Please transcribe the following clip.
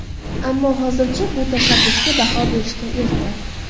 Ammo hozircha bu tashabbusga baho berishga erta.